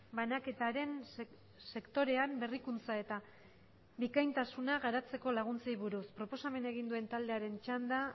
banaketaren sektorean berrikuntza eta bikaintasuna garatzeko laguntzei buruz proposamena egin duen taldearen txanda